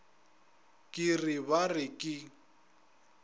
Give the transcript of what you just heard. ke re ba re ke